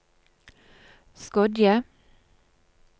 Skodje